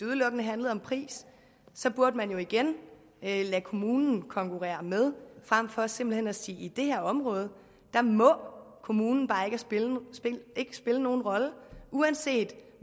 udelukkende handlede om pris så burde man jo igen lade kommunen konkurrere med frem for simpelt hen at sige at i det her område må kommunen bare ikke spille nogen rolle uanset